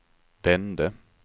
vände